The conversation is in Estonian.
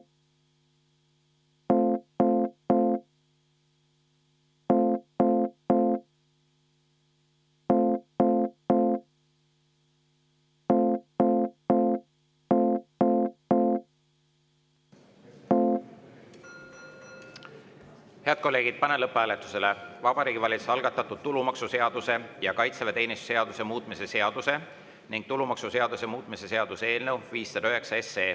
Head kolleegid, panen lõpphääletusele Vabariigi Valitsuse algatatud tulumaksuseaduse ja kaitseväeteenistuse seaduse muutmise seaduse ning tulumaksuseaduse muutmise seaduse eelnõu 509.